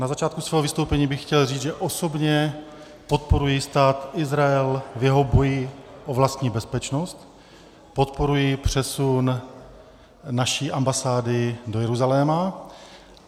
Na začátku svého vystoupení bych chtěl říct, že osobně podporuji Stát Izrael v jeho boji o vlastní bezpečnost, podporuji přesun naší ambasády do Jeruzaléma.